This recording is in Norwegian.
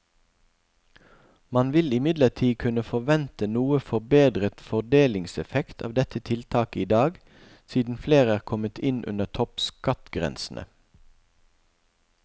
Man vil imidlertid kunne forvente noe forbedret fordelingseffekt av dette tiltaket i dag, siden flere er kommet inn under toppskattgrensene.